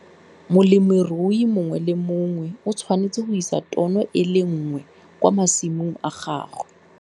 Molemirui mongwe le mongwe o tshwanetswe go isa tono e le nngwe kwa masimong a gagwe.